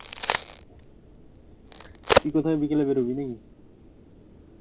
তুই কোথায় বিকালে বেরোবি নাকি?